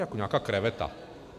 Jako nějaká kreveta...